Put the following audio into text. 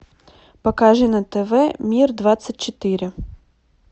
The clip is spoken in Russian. покажи на тв мир двадцать четыре